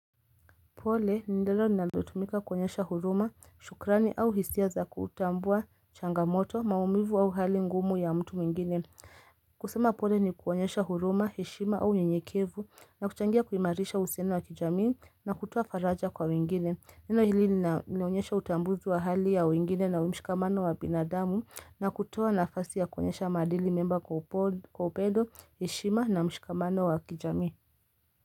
Pole ni neno linalotumika kuonyesha huruma, shukrani au hisia za kutambua changamoto, maumivu au hali ngumu ya mtu mwingine. Kusema pole ni kuonyesha huruma, heshima au unyenyekevu na kuchangia kuimarisha uhusiano wa kijamii na kutoa faraja kwa wengine. Neno hili linaonyesha utambuzi wa hali ya wengine na mshikamano wa binadamu na kutoa nafasi ya kuonyesha maadili mema kwa upendo, heshima na mshikamano wa kijami.